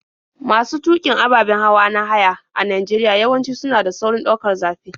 Masu tuƙin ababen hawa na haya a Najeriya yawanci suna da saurin ɗaukar zafi.